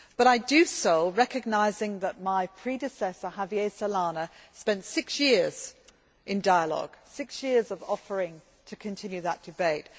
But I do so recognising that my predecessor, Javier Solana, spent six years in dialogue, six years offering to continue that debate